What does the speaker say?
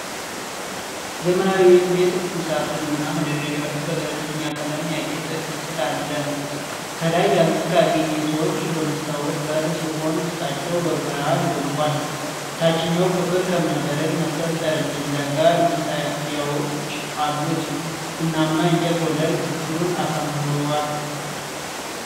ዘመናዊ የወጥ ቤት ቁምሳጥን እና መደርደሪያዎች በገለልተኛ ቀለም ያጌጠ ክፍል አለ። ከላይ ያሉት ካቢኔቶች በመስታወት በር ሲሆን ውስጣቸው በብርሃን ደምቋል። ታችኛው ክፍል ከእብነበረድ መሰል ጠረጴዛ ጋር መሳቢያዎች አሉት። ቡናማ የእንጨት ወለል ክፍሉን አሳምረዋል።